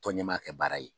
Tɔn ɲɛmaa kɛ baara ye